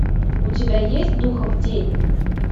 у тебя есть духов день